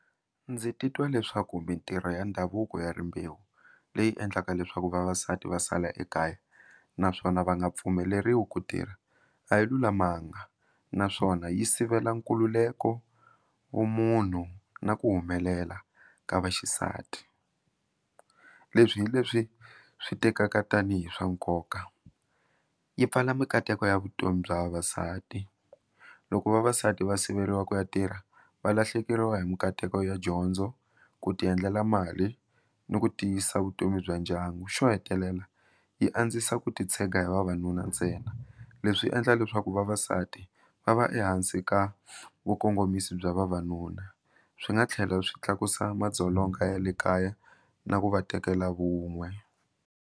Ndzi titwa leswaku mitirho ya ndhavuko ya rimbewu leyi endlaka leswaku vavasati va sala ekaya naswona va nga pfumeleriwi ku tirha a yi lulamanga naswona yi sivela nkululeko vumunhu na ku humelela ka vaxisati leswi hileswi swi tekaka tanihi swa nkoka yi pfala mikateko ya vutomi bya vavasati loko vavasati va siveriwa ku ya tirha valahlekeriwa hi mikateko ya dyondzo ku ti endlela mali ni ku tiyisa vutomi bya ndyangu xo hetelela yi andzisa ku titshega hi vavanuna ntsena leswi endla leswaku vavasati va va ehansi ka vakongomiso bya vavanuna swi nga tlhela swi tlakusa madzolonga ya le kaya na ku va tekela vun'we.